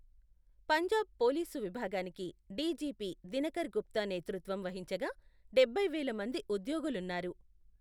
Punjab police విభాగానికి D G P Dinkar Gupta నేతృత్వం వహించగా, డబ్బై వేల మంది ఉద్యోగులున్నారు.